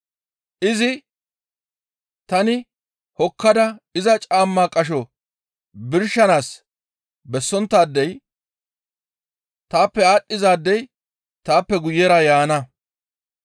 Izi, «Tani hokkada iza caamma qasho birshanaas bessonttaadey, taappe aadhdhizaadey taappe guyera yaana.